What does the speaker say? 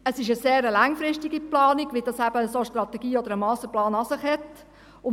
Es ist eine sehr langfristige Planung, wie es eben eine solche Strategie oder ein Masterplan an sich haben.